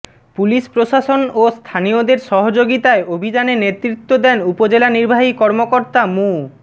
police প্রশাসন ও স্থানীয়দের সহযোগিতায় অভিযানে নেতৃত্ব দেন উপজেলা নির্বাহী কর্মকর্তা মু